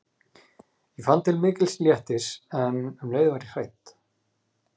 Ég fann til mikils léttis en um leið var ég hrædd.